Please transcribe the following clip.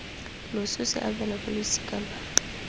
loso se abelwa balosika lwa